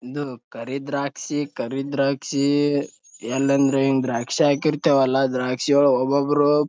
ಒಂದು ಕರಿ ದ್ರಾಕ್ಷಿ ಕರಿ ದ್ರಾಕ್ಷಿ ಎಲ್ಲೆಂದ್ರೆ ಅಲ್ಲಿ ದ್ರಾಕ್ಷಿ ಹಾಕೀರ್ತೇವಲ್ಲ ದ್ರಾಕ್ಷಿ ಒಳಗ್ ಒಬ್ಬೊಬ್ರು--